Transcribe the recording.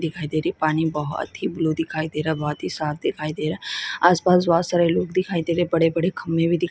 दिखाई दे रही पानी बहुत ही ब्लू दिखाई दे रहा है बहुत ही साफ दिखाई दे रहा हैं आस पास बहुत सारे लोग दिखाई दे रहे है बड़े-बड़े खंबे भी दिखाई--